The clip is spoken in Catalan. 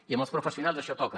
i amb els professionals això toca